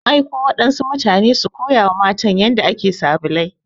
An aiko waɗansu mutane su koya wa matan yanda ake sabulai.